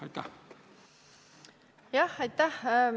Aitäh!